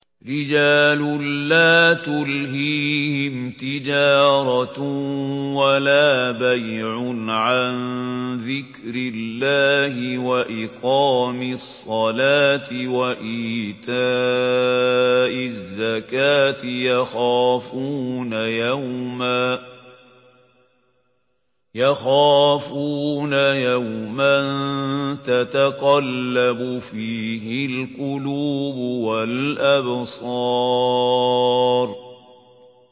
رِجَالٌ لَّا تُلْهِيهِمْ تِجَارَةٌ وَلَا بَيْعٌ عَن ذِكْرِ اللَّهِ وَإِقَامِ الصَّلَاةِ وَإِيتَاءِ الزَّكَاةِ ۙ يَخَافُونَ يَوْمًا تَتَقَلَّبُ فِيهِ الْقُلُوبُ وَالْأَبْصَارُ